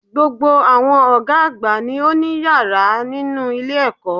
Gbogbo àwọn Ògá àgbà ni ó ní yàrá nínú ilé èkó